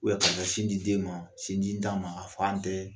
k'a ka sin di den ma, sinjitan ma a fa tɛ